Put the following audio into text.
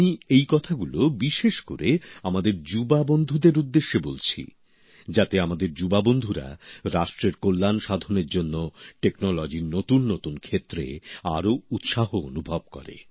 আমি এই কথাগুলো বিশেষ করে আমাদের যুবক যুবতী বন্ধুদের উদ্দেশে বলছি যাতে আমাদের যুবক যুবতী বন্ধুরা রাষ্ট্রের কল্যাণ সাধনের জন্য প্রযুক্তির নতুন নতুন ক্ষেত্রে আরও উৎসাহ অনুভব করে